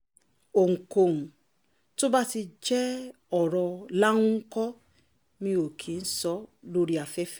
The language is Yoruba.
ohunkóhun tó bá ti jẹ́ ọ̀rọ̀ láńkọ́ mi ò kì í sọ ọ́ lórí afẹ́fẹ́